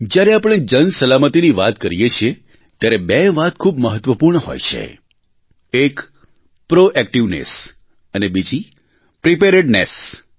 જ્યારે આપણે જનસલામતીની વાત કરીએ છીએ ત્યારે બે વાત ખૂબ મહત્વપૂર્ણ હોય છે એક પ્રોએક્ટિવનેસ અને બીજી પ્રિપેરેડનેસ